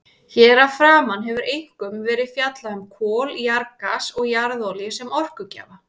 Hér að framan hefur einkum verið fjallað um kol, jarðgas og jarðolíu sem orkugjafa.